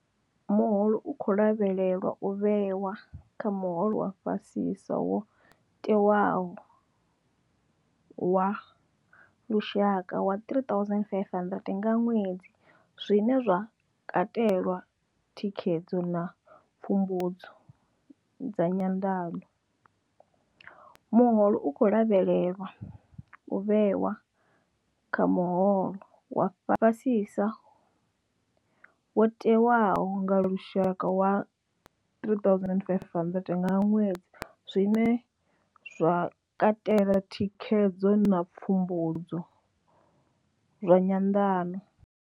Muholo u khou lavhelelwa u vhewa kha muholo wa fhasisa wo tewaho wa lushaka wa 3 500 nga ṅwedzi, zwine zwa katela thikhedzo na pfumbudzo dza nyanḓano. Muholo u khou lavhelelwa u vhewa kha muholo wa fhasisa wo tewaho wa lushaka wa 3 500 nga ṅwedzi, zwine zwa katela thikhedzo na pfumbudzo zwa nyanḓano.